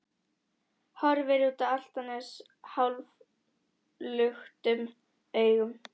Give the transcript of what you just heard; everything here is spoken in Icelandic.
Horfir út á Álftanes hálfluktum augum.